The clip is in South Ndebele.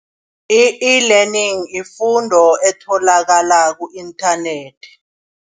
I-e-learning yifundo etholakala ku-inthanethi.